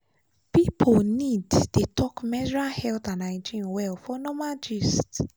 people need dey talk menstrual health and hygiene well for normal gist.